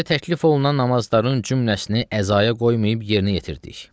Bizə təklif olunan namazların cümələsini əzaya qoymayıb yerinə yetirdik.